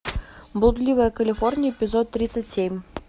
блудливая калифорния эпизод тридцать семь